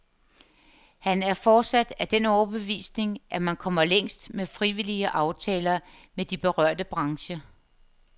Han er fortsat af den overbevisning, at man kommer længst med frivillige aftaler med de berørte brancher.